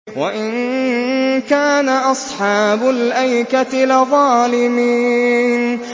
وَإِن كَانَ أَصْحَابُ الْأَيْكَةِ لَظَالِمِينَ